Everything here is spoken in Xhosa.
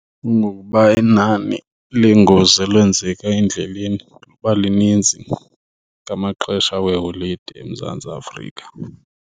Kungokuba inani leengozi elwenzeka endleleni liba lininzi ngamaxesha weeholide eMzantsi Afrika.